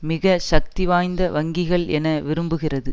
மிக சக்தி வாய்ந்த வங்கிகள் என விரும்புகிறது